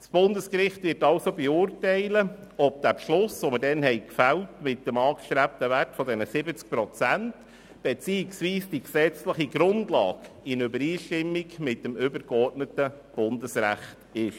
Das Bundesgericht wird also zu beurteilen haben, ob der damals gefällte Beschluss mit dem angestrebten Wert von 70 Prozent beziehungsweise die gesetzliche Grundlage dazu in Übereinstimmung mit dem übergeordneten Bundesrecht ist.